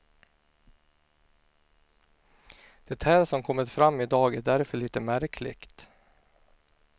Det här som kommit fram i dag är därför lite märkligt.